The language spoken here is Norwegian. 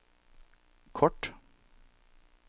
kort